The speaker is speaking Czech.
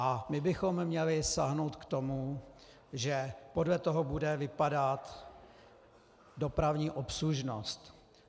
A my bychom měli sáhnout k tomu, že podle toho bude vypadat dopravní obslužnost.